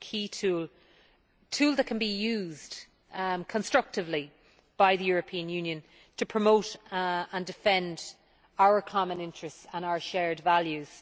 It is a key tool, a tool that can be used constructively by the European Union to promote and defend our common interests and our shared values.